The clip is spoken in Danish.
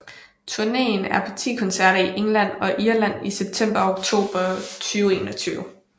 Turneen er på ti koncerter i England og Irland i september og oktober 2021